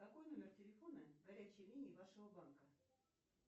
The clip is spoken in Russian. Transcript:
какой номер телефона горячей линии вашего банка